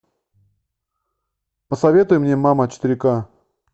посоветуй мне мама четыре ка